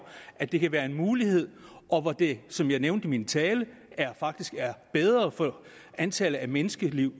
at det kan være en mulighed og hvor det som jeg nævnte i min tale faktisk er bedre for antallet af menneskeliv